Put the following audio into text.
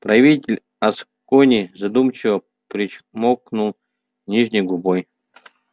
правитель аскони задумчиво причмокнул нижней губой